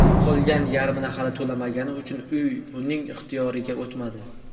Qolgan yarmini hali to‘lamagani uchun uy uning ixtiyoriga o‘tmadi.